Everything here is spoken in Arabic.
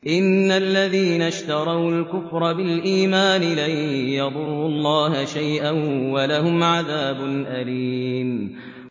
إِنَّ الَّذِينَ اشْتَرَوُا الْكُفْرَ بِالْإِيمَانِ لَن يَضُرُّوا اللَّهَ شَيْئًا وَلَهُمْ عَذَابٌ أَلِيمٌ